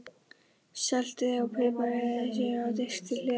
Saltið og piprið og setjið á disk til hliðar.